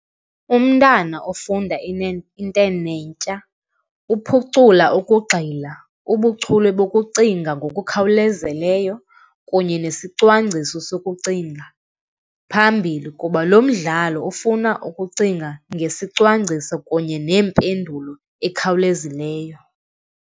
Umntana ofunda intenetya uphucula ukugxila, ubuchule bokucinga ngokukhawulezileyo kunye nesicwangciso sokucinga phambili kuba lo mdlalo ofuna ukucinga ngesicwangciso kunye nempendulo ekhawulezileyo.